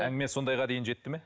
әңгіме сондайға дейін жетті ме